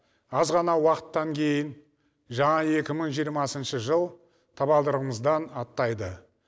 аз ғана уақыттан кейін жаңа екі мың жиырмасыншы жыл табалдырығымыздан аттайды